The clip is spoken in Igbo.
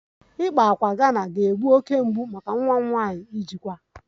Ịkpa ákwà Ghana ga-egbu oke mgbu maka nwa m nwanyị ijikwa